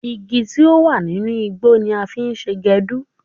Igi tí ó wà nínú igbó ni a fi ṣe èédú.